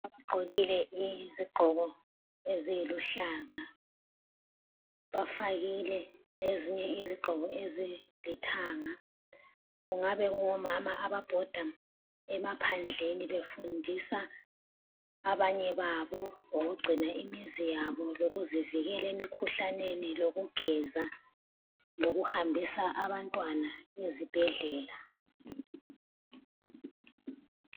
Ugqokile izigqoke eziluhlaza. Bafakile lezinye izigqoko ezilithanga. Kungaba kungomama ababhoda emaphandleni befundisa abanye babo ngokugcina imiziyabo, lokuzivikela imikhuhlaneni lokugeza, lokuhambisa abantwana ezibhedlela